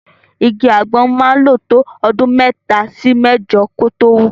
Igi àgbọn máa ń lò tó ọdún mẹ́ta sí mẹ́jọ kó tó wù.